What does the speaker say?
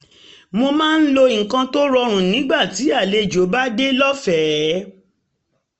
um mo máa ń lo nǹkan tó rọrùn nígbà um tí àlejò bá dé lọ́fẹ̀ẹ́